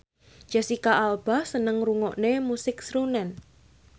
Jesicca Alba seneng ngrungokne musik srunen